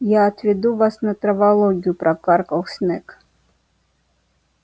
я отведу вас на травологию прокаркал снегг